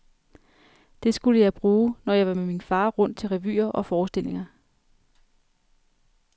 Det skulle jeg bruge, når jeg var med min far rundt til revyer og forestillinger.